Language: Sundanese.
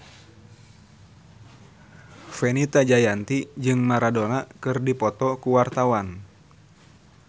Fenita Jayanti jeung Maradona keur dipoto ku wartawan